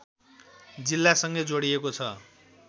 जिल्लासँगै जोडिएको छ